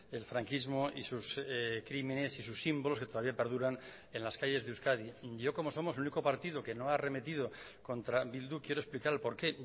el franquismo y sus crímenes y sus símbolos que todavía perduran en las calles de euskadi yo como somos el único partido que no ha arremetido contra bildu quiero explicar el por qué